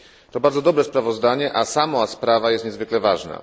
To bardzo dobre sprawozdanie, a sama sprawa jest niezwykle ważna.